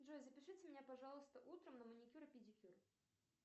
джой запишите меня пожалуйста утром на маникюр и педикюр